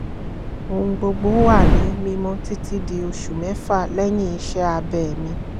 ohun gbogbo wà ní mímọ́ títí di oṣù mẹ́fà lẹ́yìn iṣẹ́ abẹ́ mi